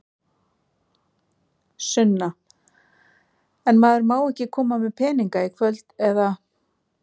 Sunna: En maður má ekki koma með peninga í kvöld, eða?